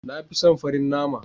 Na fi son farin nama.